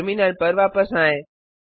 terminal पर वापस आएँ